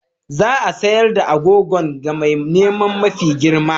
Za a sayar da agogon ga mai neman mafi girma.